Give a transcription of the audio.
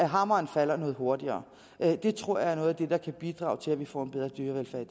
hammeren falder noget hurtigere det tror jeg er noget af det der kan bidrage til at vi får en bedre dyrevelfærd